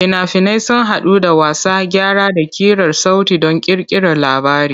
Fina-finai sun haɗu da wasa, gyara, da ƙirar sauti don ƙirƙirar labari.